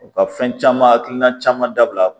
U ka fɛn caman hakilina caman dabila